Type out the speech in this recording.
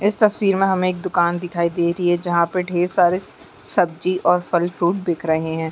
इस तस्वीर मे हमे एक दुकान दिखाई दे रही है जहां पे ढेर सारे स सब्जी और फल फ्रूट बिक रहे है।